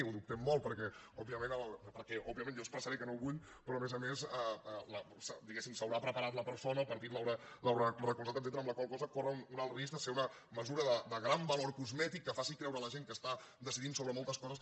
ho dubtem molt perquè òbviament jo expressaré que no ho vull però a més a més diguemne s’haurà preparat la persona el partit l’haurà recolzat etcètera amb la qual cosa corre un alt risc de ser una mesura de gran valor cosmètic que faci creure a la gent que està decidint sobre moltes coses